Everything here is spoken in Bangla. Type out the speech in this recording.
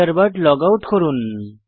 থান্ডারবার্ড লগআউট করুন